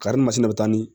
Karimasinɛ bɛ taa ni